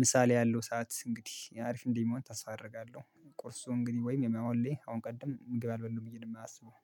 ምሳ ላይ ያለው ሰዓት እንግዲህ አሪፍ እንደሚሆን ታስፋ አደርጋለሁ። ቁርሱ እንግዲህ ወይም የመሆን ላይ አሁን ቀደም ምግብ አልበላሁም ብዬ ነው የማስበው